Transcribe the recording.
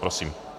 Prosím.